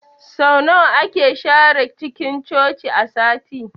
Sau nawa ake share cinkin Coci a sati?